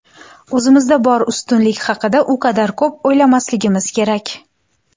O‘zimizda bor ustunlik haqida u qadar ko‘p o‘ylamasligimiz kerak.